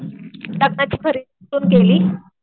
लग्नाची खरेदी कुठे केली?